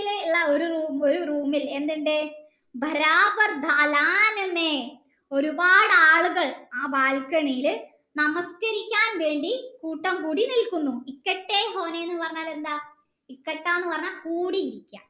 ഒരു room ഇത്‌ എന്തുണ്ട് ഒരുപാട് ആളുകൾ ഒരു ബാൽക്കണിയിൽ നമസ്കരിക്കാൻ വേണ്ടി കൂട്ടം കൂടി നില്കുന്നു എന്ന് പറഞ്ഞാൽ എന്താ എന്ന് പറഞ്ഞാൽ കൂടി